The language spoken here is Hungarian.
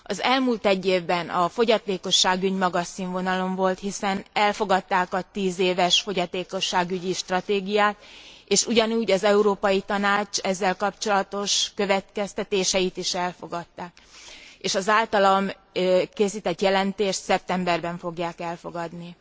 Az elmúlt egy évben a fogyatékosságügy magas színvonalon volt, hiszen elfogadták a 10 éves fogyatékosságügyi stratégiát, és ugyanúgy az Európai Tanács ezzel kapcsolatos következtetéseit is elfogadták, és az általam készített jelentést szeptemberben fogják elfogadni.